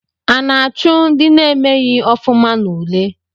A na-achụ na-emeghi ofuma n'ule?